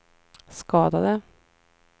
skadade